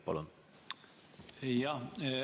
Palun!